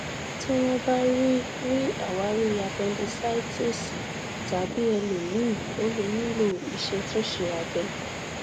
tí wọn bá rí rí àwárí apẹndísáìtísì tàbí ẹlòmíì o lè nílò ìṣètúnṣe abẹ